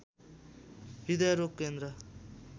हृदयरोग केन्द्र